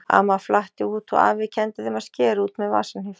Amma flatti út og afi kenndi þeim að skera út með vasahníf.